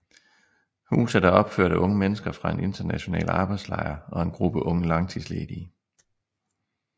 Huset er opført af unge mennesker fra en international arbejdslejr og en gruppe unge langtidsledige